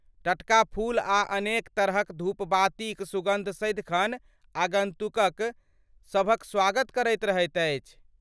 टटका फूल आ अनेक तरहक धूपबत्तीक सुगन्ध सदिखन आगन्तुक सभक स्वागत करैत रहैत अछि।